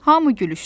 Hamı gülüşdü.